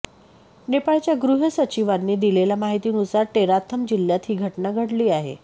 नेपाळच्या गृह सचिवांनी दिलेल्या माहितीनुसार टेराथम जिल्ह्यात ही घटना घडली आहे